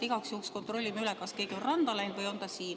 Igaks juhuks kontrollime üle, kas keegi on randa läinud või on ta siin.